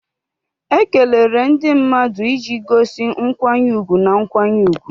Ekelere ndị mmadụ iji gosi nkwanye ùgwù na nkwanye ùgwù